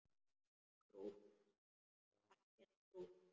Krútt og ekki krútt.